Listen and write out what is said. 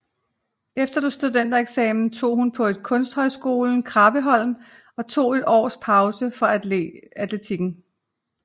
Efter studentereksamen tog hun på Kunsthøjskolen Krabbesholm og tog et års pause fra atletikken